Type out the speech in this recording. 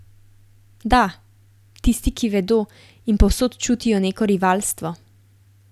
Da, tisti, ki vedo in povsod čutijo neko rivalstvo.